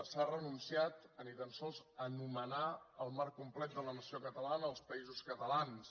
s’ha renunciat a ni tan sols anomenar el marc complet de la nació catalana els països catalans